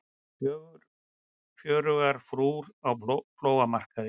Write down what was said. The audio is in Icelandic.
Fjörugar frúr á flóamarkaði